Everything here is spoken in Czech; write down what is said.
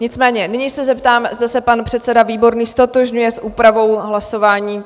Nicméně nyní se zeptám, zda se pan předseda Výborný ztotožňuje s úpravou hlasování?